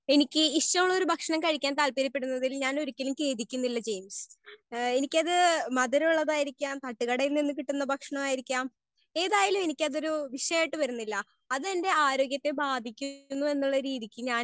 Speaker 1 എനിക്ക് ഇഷ്ടമുള്ള ഭക്ഷണം കഴിക്കാൻ താല്പര്യ പെടുന്നതിൽ ഞാൻ ഒരിക്കലും കേടിക്കുന്നില്ല ജെയിംസ്. ഹേ എനിക്കത് മധുരം ഉള്ളതായിരിക്കാം. തട്ട് കടയിൽ നിന്ന് കിട്ടുന്ന ഭക്ഷണം ആയിരിക്കാം. ഏതായാലും എനിക്ക് അത് ഒര് വിഷയം ആയിട്ട് വരുന്നില്ല അത് എന്റെ ആരോഗ്യ ത്തെ ബാധിക്കും എന്നുള്ള രീതിക്ക് ഞാൻ